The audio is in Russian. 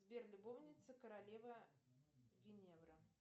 сбер любовница королева гвиневра